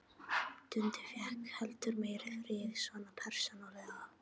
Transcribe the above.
Dundi fékk heldur meiri frið, svona persónulega.